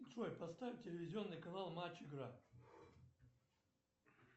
джой поставь телевизионный канал матч игра